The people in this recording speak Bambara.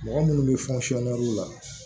Mɔgɔ munnu bɛ la